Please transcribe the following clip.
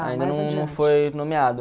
Ainda não não foi nomeado.